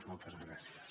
moltes gràcies